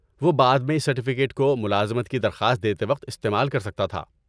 وہ بعد میں اس سرٹیفکیٹ کو ملازمت کی درخواست دیتے وقت استعمال کر سکتا تھا۔